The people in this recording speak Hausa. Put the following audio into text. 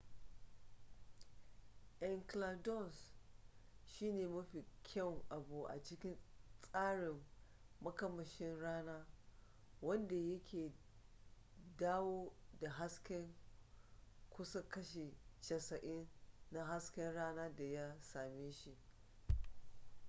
enceladus shine mafi kyawun abu a cikin tsarin makamashin rana wanda yake dawo da hasken kusan kashi 90 na hasken rana da ya same shi